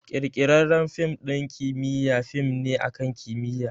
Ƙirƙirarren fim ɗin kimiyya fim ne akan kimiyya